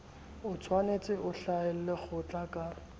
otshwanetse o hlahelle kgotla ka